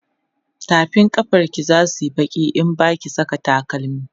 tafin kafan ki zasuyi Baki in Baki Saka takalami